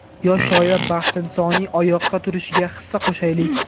Yosh shoira Baxtinisoning oyoqqa turishiga hissa qo‘shaylik!.